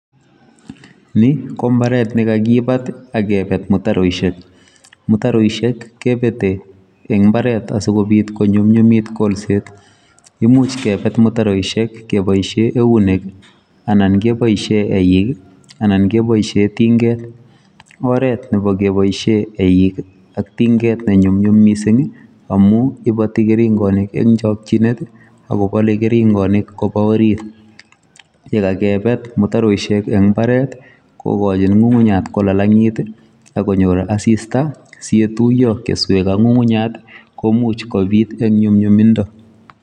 Ni ko mbaret, nekagibat, akebet mutaroishek. Mutaroishek kebete eng' mbaret asikobiit konyunyumit golset. Imuch kebet mutaroishek keboisie eunek, anan keboisie eik, anan keboisie tinget. Oret nebo keboisie eik ak tinget ko ne nyumnyum missing amu iboti keringonik eng' chakchinet, akobale keringonik koba orit. Ye kakebet mutaroishek eng' imbaret, kokochin ng'ung'unyat kolalangit, akonyor asista, si yetuyo keswet ak ngungunyat, koimuch kobiit eng' nyumnyumindo